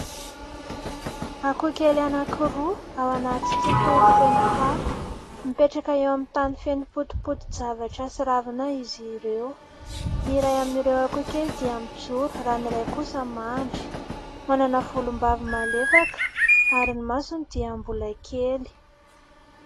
Akoho kely anankiroa ao anaty tontolo feno fako. Mipetraka eo amin'ny tany feno potipoti-javatra sy ravina izy ireo. Ny iray amin'ireo akoho kely dia mijoro raha ny iray kosa mandry, manana volombava malefaka ary ny masony dia mbola kely.